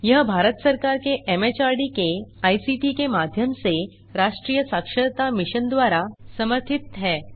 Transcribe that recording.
यह भारत सरकार के एमएचआरडी के आईसीटी के माध्यम से राष्ट्रीय साक्षरता मिशन द्वारा समर्थित है